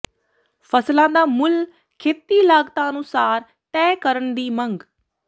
ਫਸਲਾਂ ਦਾ ਮੁੱਲ ਖੇਤੀ ਲਾਗਤਾਂ ਅਨੁਸਾਰ ਤੈਅ ਕਰਨ ਦੀ ਮੰਗ